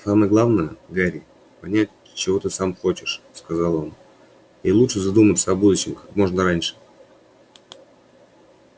самое главное гарри понять чего ты сам хочешь сказал он и лучше задуматься о будущем как можно раньше